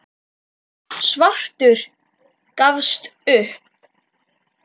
Svartur gafst upp.